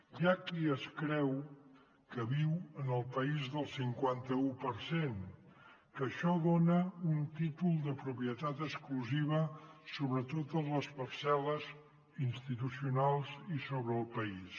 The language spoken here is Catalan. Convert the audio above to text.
hi ha qui es creu que viu en el país del cinquanta un per cent que això dona un títol de propietat exclusiva sobre totes les parcel·les institucionals i sobre el país